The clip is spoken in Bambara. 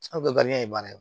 Aw bɛɛ ye baara ye